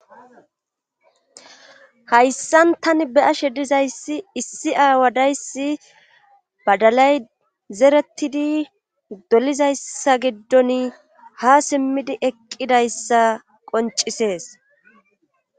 hayssan tani be'ashe dizayssi issi aawadayssi badalay zeretidi dolizayssa giddon ha simmidi eqqidayssa qoncisees